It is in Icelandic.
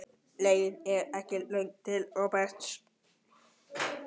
Leiðin var ekki löng til Róberts.